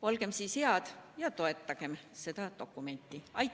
Olgem siis head ja toetagem seda dokumenti!